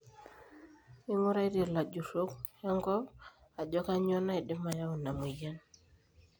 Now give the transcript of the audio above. inguaritie ilajurok enkop ajo kainyioo naidim ayau ena moyian